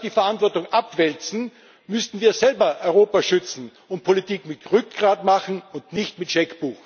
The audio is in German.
Statt die Verantwortung abzuwälzen, müssten wir selber Europa schützen und Politik mit Rückgrat machen und nicht mit Scheckbuch.